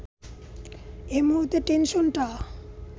এ মুহূর্তে টেনশনটা